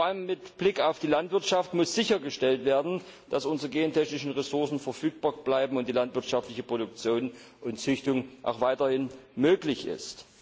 Vor allem mit Blick auf die Landwirtschaft muss sichergestellt werden, dass unsere gentechnischen Ressourcen verfügbar bleiben und die landwirtschaftliche Produktion und Züchtung auch weiterhin möglich ist.